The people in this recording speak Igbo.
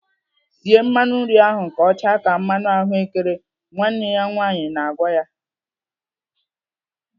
"Sie mmanụ nri ahụ ka ọ chaa ka mmanụ ahụ́kere!" Nwanne ya nwaanyị na-agwa ya.